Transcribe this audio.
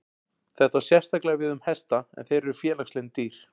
Þetta á sérstaklega við um hesta en þeir eru félagslynd dýr.